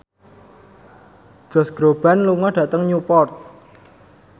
Josh Groban lunga dhateng Newport